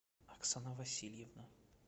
оксана васильевна